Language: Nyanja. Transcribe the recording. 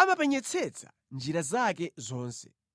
amapenyetsetsa njira zake zonse.